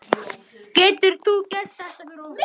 Getur þú gert þetta fyrir okkur?